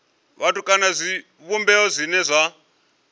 vhathu kana zwivhumbeo zwine zwa